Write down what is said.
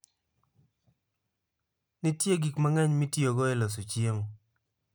Nitie gik mang'eny mitiyogo e loso chiemo.